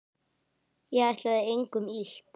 Ég ætlaði engum illt.